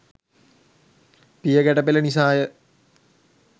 පියගැට පෙළ නිසා ය.